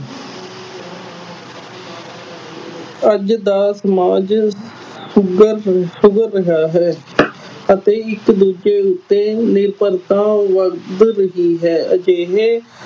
ਅੱਜ ਦਾ ਸਮਾਜ ਸੁਧਰ ਸੁਧਰ ਰਿਹਾ ਹੈ ਅਤੇ ਇਸ ਉੱਤੇ ਨਿਰਭਰਤਾ ਵੱਧ ਰਹੀ ਹੈ ਅਜਿਹੇ